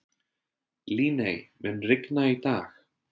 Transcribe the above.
Líney, mun rigna í dag?